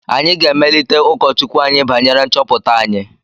Anyị ga-emelite ụkọchukwu anyị banyere nchọpụta anyị